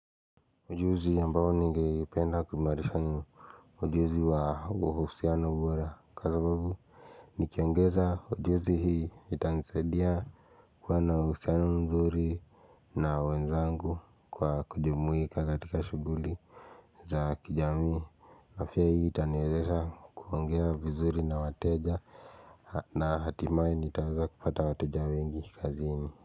Ujuzi ambao ningependa kuimarisha ni ujuzi wa uhusiano bora kwa sababu nikiongeza ujuzi hii itanisaidia kuwa na uhusiano mzuri na wenzangu kwa kujumuika katika shughuli za kijamii afya hii itaniwezesha kuongea vizuri na wateja na hatimaye nitaweza kupata wateja wengi kazini.